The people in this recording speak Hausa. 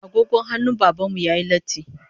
Agogon hannun Baban mu yayi latti